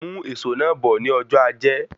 Mú èsó náà bó ní ọjọ́ ajẹ́